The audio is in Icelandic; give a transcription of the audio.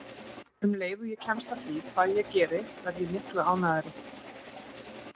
Um leið og ég kemst að því hvað ég geri verð ég miklu ánægðari.